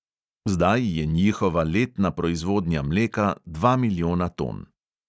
Zdaj je njihova letna proizvodnja mleka dva milijona ton.